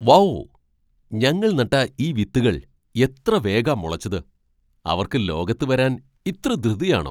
Wow , ഞങ്ങൾ നട്ട ഈ വിത്തുകൾ എത്ര വേഗാ മുളച്ചത്. അവർക്ക് ലോകത്ത് വരാൻ ഇത്ര ധൃതിയാണോ!